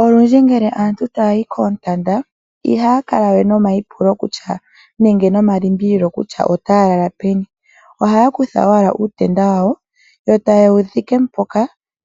Olundji ngele aantu taya yi koontanda ihaya kale we nomayipulo nenge nomalimbililo kutya otaya lala peni. Ohaa kutha owala uutenda wawo yo taye wu dhike mpoka